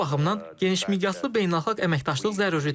Bu baxımdan genişmiqyaslı beynəlxalq əməkdaşlıq zəruridir.